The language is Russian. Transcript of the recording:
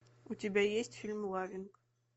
у тебя есть фильм лавинг